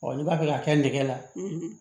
n'i b'a fɛ k'a kɛ nɛgɛ la